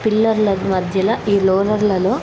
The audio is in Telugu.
పిల్లర్ల కు మధ్యల ఈ రోలర్ల లో--